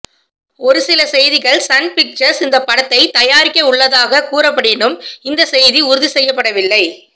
ஒருசில செய்திகள் Sun Pictures இந்த படத்தை தயாரிக்கவுள்ளதாக கூறப்படினும் இந்த செய்தி உறுதி செய்யப்படவில்லை